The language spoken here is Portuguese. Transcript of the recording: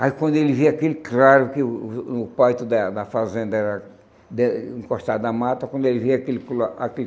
Aí quando ele via aquele claro que o o o o quarto da da fazenda era den encostado na mata, quando ele via aquele cla aquele